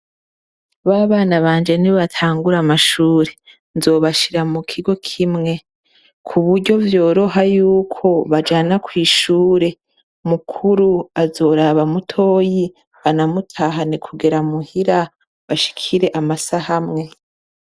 Ba bana banje nibatangura amashuri, nzobashira mu kigo kimwe. Kuburyo vyoroha yuko bajana kw'ishure. Mukuru azoraba mutoyi, anamutahane kugera muhira, bashikire amasaha amwe.